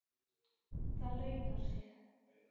Það launar sig.